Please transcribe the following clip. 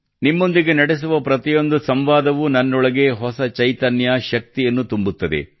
ನಿಮ್ಮೊಂದಿಗೆ ನಡೆಸುವ ಪ್ರತಿಯೊಂದು ಸಂವಾದವೂ ನನ್ನೊಳಗೆ ಹೊಸ ಚೈತನ್ಯ ಶಕ್ತಿಯನ್ನು ತುಂಬುತ್ತದೆ